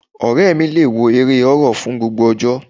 Ọ̀rẹ́ mi le wo eré horror fún gbogbo ọjọ́.